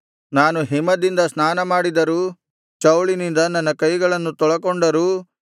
ನಾನು ಹಿಮದಿಂದ ಸ್ನಾನಮಾಡಿದರೂ ಚೌಳಿನಿಂದ ನನ್ನ ಕೈಗಳನ್ನು ತೊಳಕೊಂಡರೂ